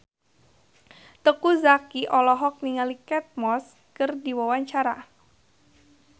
Teuku Zacky olohok ningali Kate Moss keur diwawancara